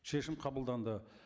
шешім қабылданды